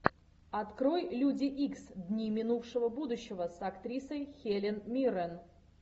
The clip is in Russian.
открой люди икс дни минувшего будущего с актрисой хелен миррен